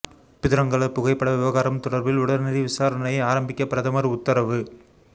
பிதுரங்கல புகைப்பட விவகாரம் தொடர்பில் உடனடி விசாரணையை ஆரம்பிக்க பிரதமர் உத்தரவு